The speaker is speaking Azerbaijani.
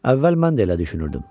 Əvvəl mən də elə düşünürdüm.